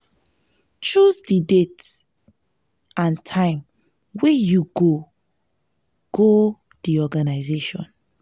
choose di date and date and time wey you go go di organisation